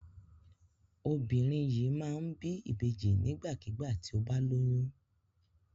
Obìnrin yìí máa ń bí ìbejì nígbàkigbà tí ó bá lóyún.